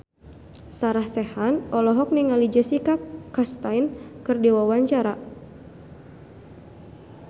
Sarah Sechan olohok ningali Jessica Chastain keur diwawancara